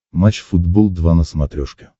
матч футбол два на смотрешке